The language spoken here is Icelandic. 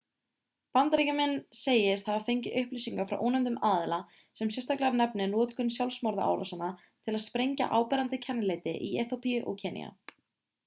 bandaríkjamenn segist hafa fengið upplýsingar frá ónefndum aðila sem sérstaklega nefnir notkun sjálfsmorðsárásarmanna til að sprengja áberandi kennileiti í eþíópíu og kenýa